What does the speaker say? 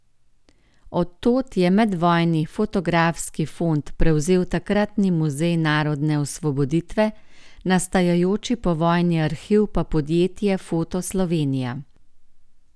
Od tod je medvojni fotografski fond prevzel takratni Muzej narodne osvoboditve, nastajajoči povojni arhiv pa podjetje Foto Slovenija.